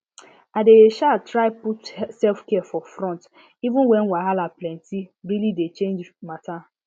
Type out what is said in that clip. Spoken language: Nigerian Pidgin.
i dey um try put selfcare for front even when wahala plentye really dey change matter